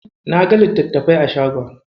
Naga littatafai a shagon.